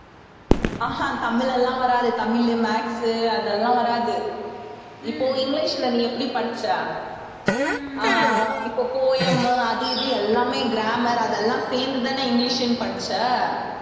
ஆஹ் ஹம் தமிழெல்லாம் வராது தமிழு maths உ அதெல்லாம் வராது இப்போ இங்கிலிஷ்ல நீ எப்படி படிச்ச ஆஹ் இப்போ poem அது இது எல்லாமே grammar அது எல்லாம் சேர்ந்துதானே இங்கிலிஷ்ன்னு படிச்ச